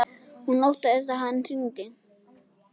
Hún óttast að hann hringi.